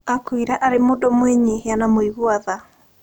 Aakũrire arĩ mũndũ mwĩnyihia na mũigua tha.